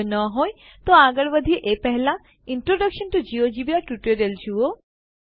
જો ન હોય તો આગળ વધીએ એ પહેલા ઇન્ટ્રોડક્શન ટીઓ જિયોજેબ્રા ટ્યુટોરીયલ જુઓ